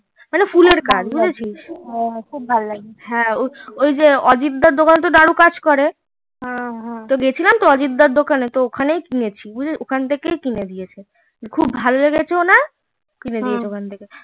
মানে ফুলের কাজ বুঝেছিস ওই যে অজিদ দার দোকানে তো দারু কাজ করে গেছিলাম তো অজিদ দাঁড় দোকানে সেখান থাকে কিনেছি ওখান থেকেই কিনা দিয়েছে খুব ভালেগেছে ওনার তো কিনে দিয়েছে